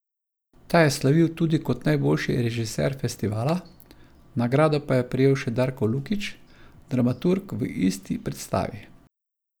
Ta je slavil tudi kot najboljši režiser festivala, nagrado pa je prejel še Darko Lukić, dramaturg v isti predstavi.